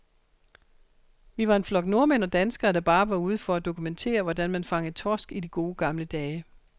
Vi var en flok nordmænd og danskere, der bare var ude for at dokumentere, hvordan man fangede torsk i de gode, gamle dage.